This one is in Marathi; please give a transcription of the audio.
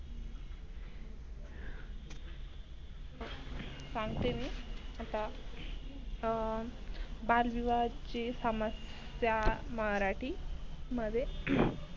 सांगते मी आता अं बालविवाहाची समस्या मराठी मध्ये